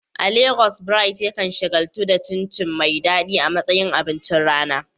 A Legas, Bright yakan shagaltu da cin chin chin mai daɗi a matsayin abincin rana.